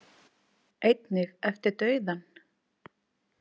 Einnig eftir dauðann.